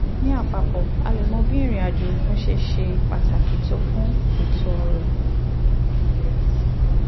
ní àpapọ̀ a lè mọ bí ìrìn àjò òkun ṣe ṣe pàtàkì tó fún ètò ọ̀rọ̀